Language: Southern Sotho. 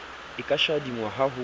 e ka shadingwang ha ho